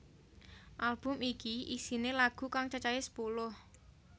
Album iki isiné lagu kang cacahé sepuluh